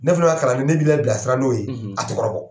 Ne fana ka kalanden ne b'i labilasira n'o ye a tɛ kɔrɔbɔ.